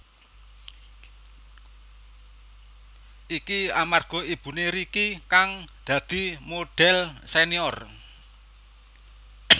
Iki amarga ibuné Ricky kang dadi modhel senior